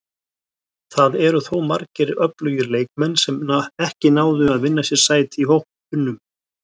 Það eru þó margir öflugir leikmenn sem ekki náðu að vinna sér sæti í hópnum.